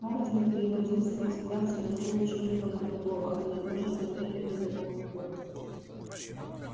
хардин переводил свой взгляд с одного учёного на другого они тоже смотрели на него в упор